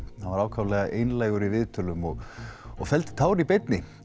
hann var ákaflega einlægur í viðtölum og og felldi tár í beinni